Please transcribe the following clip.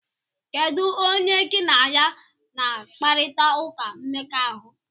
Kedu onye gị na ya na akparita ụka mmekọahụ?